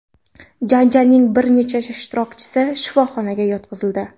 Janjalning bir necha ishtirokchisi shifoxonaga yotqizildi.